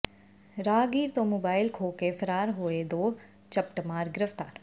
ਰਾਹਗੀਰ ਤੋਂ ਮੋਬਾਇਲ ਖੋਹਕੇ ਫ਼ਰਾਰ ਹੋਏ ਦੋ ਝਪਟਮਾਰ ਗ੍ਰਿਫ਼ਤਾਰ